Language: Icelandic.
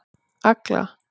Agla